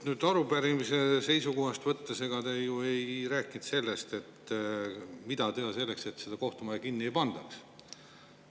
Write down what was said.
Kui arupärimise seisukohast võtta, siis te ju ei rääkinud sellest, mida teha, et seda kohtumaja kinni ei pandaks.